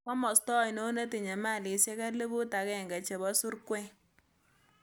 Komosto ainon netinye mailisiek elibuut agenge chebo surkwen